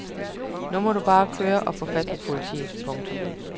Nu må du bare køre og få fat på politiet. punktum